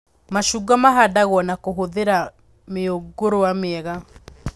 Macungwa mahandagwo na kũhũthĩra mĩũngũrwa mĩega